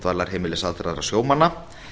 dvalarheimilis aldraðra sjómanna